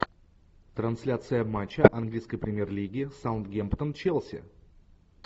трансляция матча английской премьер лиги саутгемптон челси